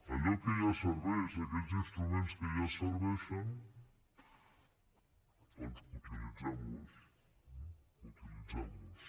allò que ja serveix aquells instruments que ja serveixen doncs utilitzem los eh utilitzem los